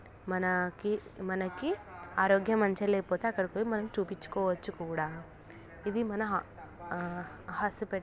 మనాకి మనకి ఆరోగ్యం మంచిగా లేకపోతే అక్కడకు వెళ్లి మనం చుపిచ్చు కోవచ్చు కూడా ఇది మన ఆ హాస్ --